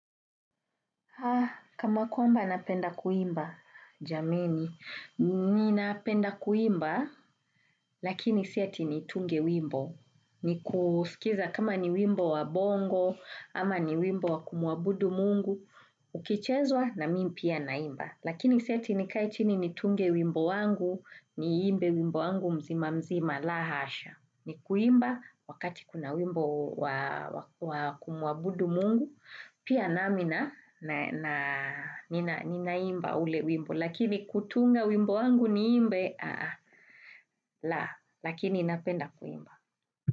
Kama kwamba napenda kuimba, jameni, mimi napenda kuimba, lakini siati nitunge wimbo. Ni kusikiza kama ni wimbo wa bongo, ama ni wimbo wa kumuabudu mungu, ukichezwa na mi pia naimba. Lakini siati ni kae chini ni tunge wimbo wangu, ni imbe wimbo wangu mzima mzima la hasha. Ni kuimba wakati kuna wimbo kumuabudu mungu, pia namina ninaimba ule wimbo. Lakini kutunga wimbo wangu ni imbe, la, lakini ninapenda kuimba.